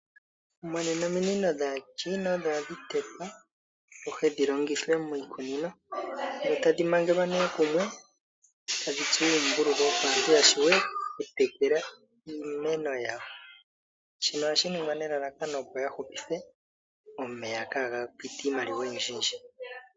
Monena ominino dhAachina odho hadhi tetwa dhi wape dhi longithwe miikunino dho tadhi mangelwa nduno kumwe tadhi tsuwa uumbululu, opo aantu ya wape okutekela iimeno yawo. Shino ohashi ningwa nelalakano opo ya hupithe omeya kaaga pite niimaliwa oyindjiyindji.